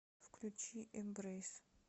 включи эмбрэйс